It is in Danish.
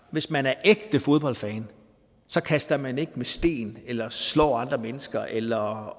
hvis man er ægte fodboldfan kaster man ikke med sten eller slår andre mennesker eller